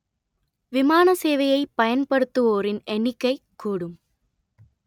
விமான சேவையை பயன்படுத்துவோரின் எண்ணிக்கைக் கூடும்